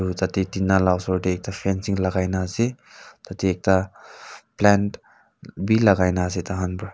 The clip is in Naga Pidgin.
tina ma osor teh ekta fencing lagaigena ase tateh ekta plant bi lagaina ase taihan pra.